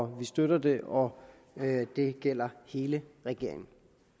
vi støtter det og det gælder hele regeringen